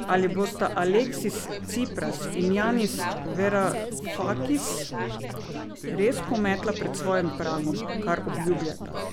Ali bosta Aleksis Cipras in Janis Varufakis res pometla pred svojim pragom, kar obljubljata?